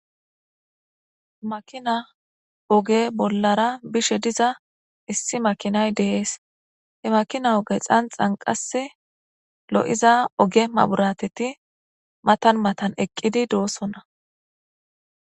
Makina oge bollara bishe diza issi makinay deees he makina oge xanxanqas lo'iza oge maburateti matan matan eqqidi doossonna.